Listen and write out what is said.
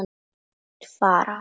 Þeir fara.